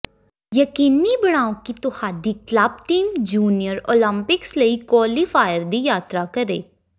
ਯਕੀਨੀ ਬਣਾਉ ਕਿ ਤੁਹਾਡੀ ਕਲੱਬ ਟੀਮ ਜੂਨੀਅਰ ਓਲੰਪਿਕਸ ਲਈ ਕੁਆਲੀਫਾਇਰ ਦੀ ਯਾਤਰਾ ਕਰੇ